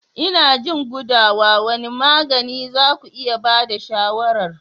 Ina jin gudawa, wane magani za ku iya ba da shawarar?